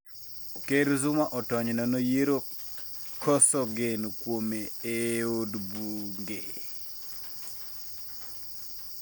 Ker Zuma otony nono yiero koso geno kuome ee od bunge